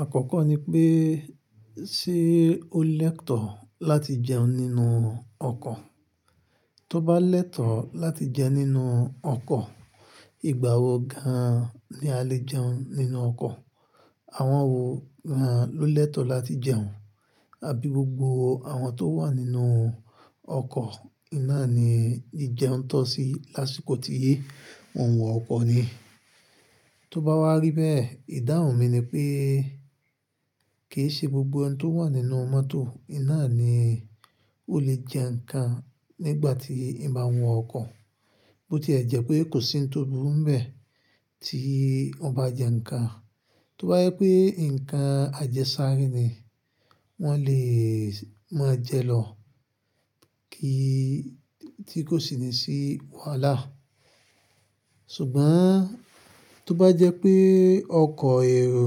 Àkọ́kọ́ ni pé, ṣe ó lẹ́tọ̀ọ́ láti jẹun nínú ọkọ̀? Tó bá lẹ́tọ̀ọ́ láti jẹ nínú ọkọ̀, ìgbà wo gan ni a lè jẹun nínú ọkọ̀? Àwọn wo gan an ló lẹ́tọ̀ọ́ láti jẹun? Àbí gbogbo àwọn tó wà nínú ọkọ̀ iná ni ìjẹun tó sí lásìkò tí wọn wọ ọkọ̀ ni? Tó bá wá rí bẹ́ẹ̀, ìdáhùn mi ni pé kì í ṣe gbogbo ẹni tó wà nínú mọ́tò iná ni ó lè jẹ nǹkan nígbà tí Ìbá wọn ọkọ̀. Bo tilẹ̀ jẹ́ pé kò sí ohun tó burú bẹ́ẹ̀ tí ọba jẹ nǹkan. Tó bá jẹ pé nǹkan àjẹ sárẹ́ ni, wọn lè máa jẹ lọ, kí i tí kò sì ní sí wàhálà. Ṣùgbọ́n tó bá jẹ́ pé ọkọ̀ èrò,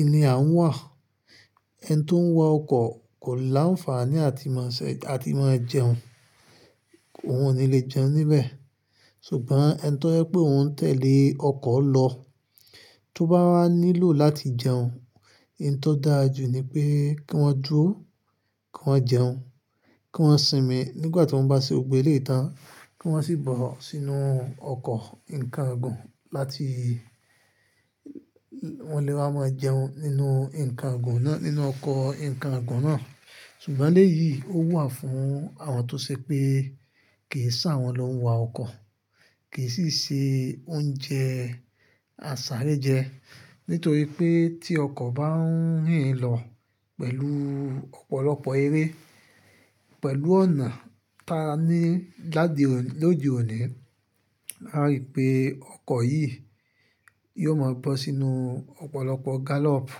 ìní à ń wà, ẹni tó ń wà ọkọ̀ kò láǹfààní à ti máa ṣẹ̀, à ti máa jẹun. Óun ni lè jẹun níbẹ̀. Ṣùgbọ́n ẹni tí tó jẹ́ pé òun ń tẹ̀lé ọkọ̀ lọ, tó bá wá nílò láti jẹun, n tó dáa jù ni pé kí wọ́n dúró, kí wọ́n jẹun, kí wọ́n sinmi nígbà tí wọ́n bá ṣe gbogbo eléyìí tán, kí wọ́n sì bọ̀ sínú ọkọ̀ ǹkan gùn láti wọ́n lè wá máa jẹun nínú ǹkan àgùn náà, nínú ọkọ̀ ǹkan àgùn náà. Ṣùgbọ́n eléyìí ó wà fún àwọn tó ṣe pé kì í ṣe àwọn ló ń wọ ọkọ̀, kì í sì ṣe oúnjẹ àsárẹ́ jẹ. Nítorí pé tí ọkọ̀ bá ń rìn lọ pẹ̀lú ọ̀pọ̀lọpọ̀ eré, pẹ̀lú ọ̀nà ta ní lóde òní, a rí pé ọkọ̀ yìí yóò máa bọ́ sínú ọ̀pọ̀lọpọ̀ gálọ̀ọ̀pù.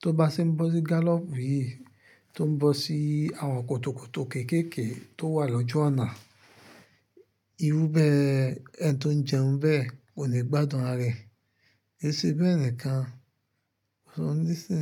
Tó bá sì ń bọ́ sí gálọ̀ọ̀pù yìí, tó ń bọ́ sí àwọn kòtòkòtò kéékèèké tó wà lójú ọ̀nà, irú bẹ́ẹ̀ ẹni tó ń jẹun bẹ́ẹ̀ kò ni gbádùn ara rẹ̀. Ki sí bẹ́ẹ̀ nìkan, ó ní sí.